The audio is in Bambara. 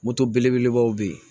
Moto belebelebaw bɛ yen